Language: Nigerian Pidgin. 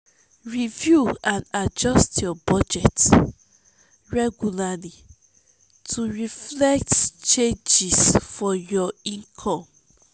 review and adjust your budget regularly to reflect changes for your income.